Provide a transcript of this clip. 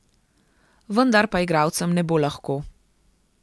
Vendar pa igralcem ne bo lahko.